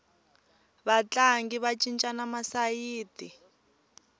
vatlangi va cincana masayiti